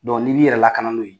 Dɔn n'i b'i yɛrɛ lakadan n'o ye